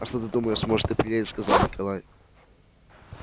а что ты думаешь может и приедет сказал николай